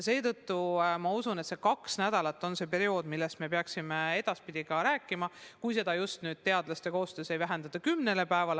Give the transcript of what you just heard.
Ma usun, et kaks nädalat on see periood, millest me peaksime edaspidi ka rääkima, kui seda just koosöös teadlastega ei vähendata kümne päevani.